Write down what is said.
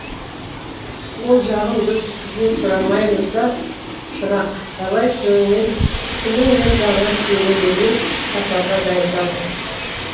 ол жағын біз сізден сұрамаймыз да шырақ давай тілің мен жағыңа сүйене бермей сапарға дайындал